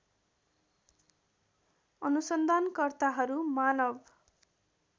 अनुसन्धान कर्ताहरू मानव